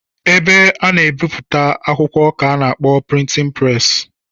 Ebe a na-ebipụta akwụkwọ ka a na-akpọ prịtịn preesị